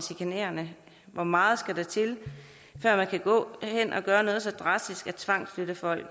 chikanerende hvor meget skal der til før man kan gå hen at gøre noget så drastisk som at tvangsflytte folk